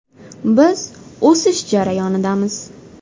Biz o‘sish jarayonidamiz.